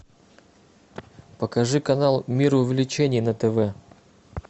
покажи канал мир увлечений на тв